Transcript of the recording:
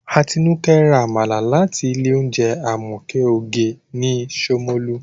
Atinúkẹ́ ra Àmàlà láti ilé oúnjẹ Àmọ̀kẹ́ oge ní Ṣómólú